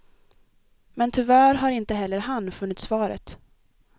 Men tyvärr har inte heller han funnit svaret.